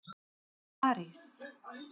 París